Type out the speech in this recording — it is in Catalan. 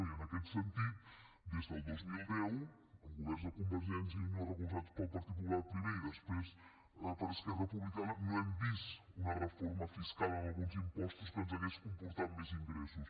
i en aquest sentit des del dos mil deu amb governs de convergència i unió recolzats pel partit popular primer i després per esquerra republicana no hem vist una reforma fiscal en alguns impostos que ens hauria comportat més ingressos